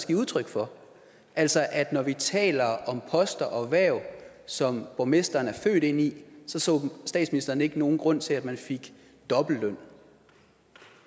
give udtryk for altså at når vi taler om poster og hverv som borgmesteren er født ind i så så statsministeren ikke nogen grund til at man fik dobbeltløn